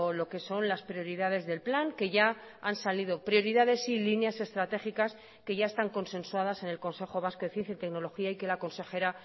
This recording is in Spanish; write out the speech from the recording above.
lo que son las prioridades del plan que ya han salido prioridades y líneas estratégicas que ya están consensuadas en el consejo vasco de ciencia y tecnología y que la consejera